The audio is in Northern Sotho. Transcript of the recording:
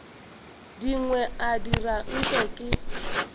dingwe a dira nke ke